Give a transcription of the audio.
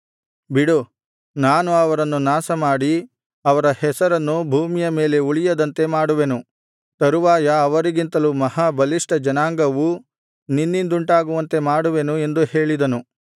ಬಿಡು ನಾನು ಅವರನ್ನು ನಾಶಮಾಡಿ ಅವರ ಹೆಸರನ್ನು ಭೂಮಿಯ ಮೇಲೆ ಉಳಿಯದಂತೆ ಮಾಡುವೆನು ತರುವಾಯ ಅವರಿಗಿಂತಲೂ ಮಹಾ ಬಲಿಷ್ಠ ಜನಾಂಗವು ನಿನ್ನಿಂದುಂಟಾಗುವಂತೆ ಮಾಡುವೆನು ಎಂದು ಹೇಳಿದನು